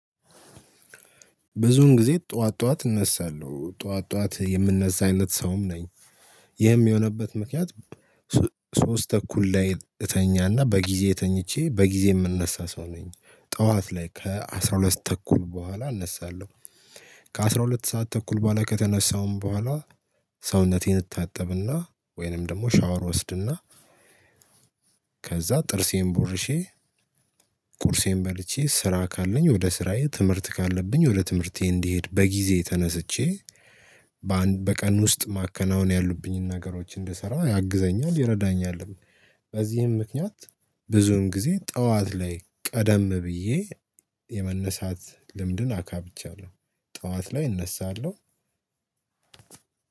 ብዙውን ጊዜ ጠዋት ጠዋት እነሳለሁ ጠዋት ጠዋት የምንነሳ አይነት ሰውም ነኝ ይህም የሆነበት ምክንያት። ሶስት ተኩል ላይ እተኛና በጊዜ ተኝቼ በጊዜ የምነሳ ሰው ነኝ ጠዋት ላይ ከአሥራ ሁለት ሰ ተኩል በኋላ እነሳለሁ። ከአሥራ ሁለት ሰዓት ተኩል በኋላ ከተነሳውም በኋላ ሰውነቴን እታጠብና ወይንም ደግሞ ሻወር ወስድና ከዛ ጥርሴን ቦርሼ። ቁርሴን በልቼ ስራ ካለኝ ወደ ስራዬ ትምህርት ካለብኝ ወደ ትምህርቴ እንዲሄድ በጊዜ ተነስቼ በአን በቀን ውስጥ ማከናወን ያሉብኝን ነገሮች እንድሰራ ያግዘኛል ይረዳኛልም። በዚህም ምክንያት ብዙን ጊዜ ጠዋት ላይ ቀደም ብዬ የመነሳት ልምድን አካብቻለሁ። ጠዋት ላይ እነሳለሁ።